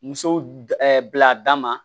Muso d bila a da ma